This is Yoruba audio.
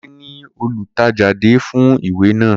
Kunle ni olùtẹ̀jáde fún ìwé náà